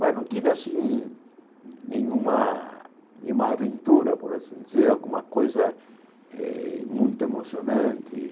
Mas não tive, assim, nenhuma nenhuma aventura, por assim dizer, alguma coisa eh muito emocionante.